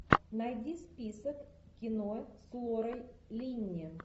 найди список кино с лорой линни